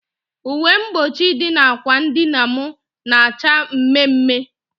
Uwe mgbochi dị na ákwà dịna m na acha mme mme